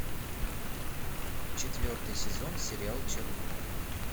четвертый сезон сериал чернобыль